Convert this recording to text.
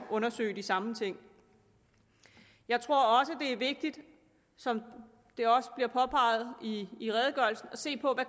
undersøge de samme ting jeg tror også det er vigtigt som det også bliver påpeget i i redegørelsen at se på